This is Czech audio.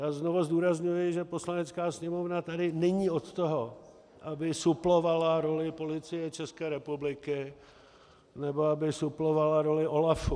Já znovu zdůrazňuji, že Poslanecká sněmovna tady není od toho, aby suplovala roli Policie České republiky nebo aby suplovala roli OLAFu.